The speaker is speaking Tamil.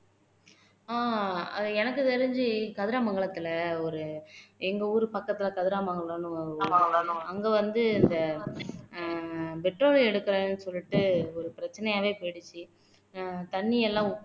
ஆஹ் அது எனக்கு தெரிஞ்சு கதிராமங்கலத்திலே ஒரு எங்க ஊரு பக்கத்திலே கதிராமங்கலம்ன்னு அங்கே வந்து ஆஹ் இந்த petrol எடுக்கிறேன்னு சொல்லிட்டு ஒரு பிரச்சனையாவே போயிடுச்சு ஆஹ் தண்ணி எல்லாம்